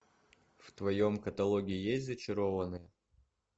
в твоем каталоге есть зачарованные